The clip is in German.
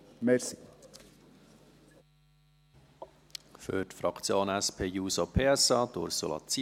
Für die Fraktion SP-JUSO-PSA, Ursula Zybach.